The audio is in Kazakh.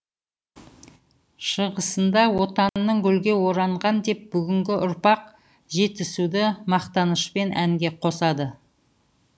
шығысында отанның гүлге оранған деп бүгінгі ұрпақ жетісуды мақтанышпен әнге қосады